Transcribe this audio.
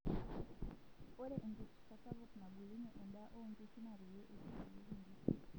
Ore enkipirta sapuk nabulunyie endaa oonkishu naa peyie eitotieki inkishuu.